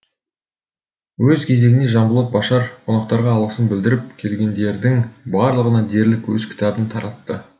өз кезегінде жанболат башар қонақтарға алғысын білдіріп келгендердің барлығына дерлік өз кітабын таратты